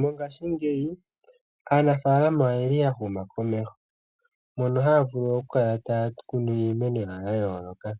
Mongashingeyi aanafaalama oya huma komeho, mono haya vulu okukala taya kunu iimeno yawo ya yooloka,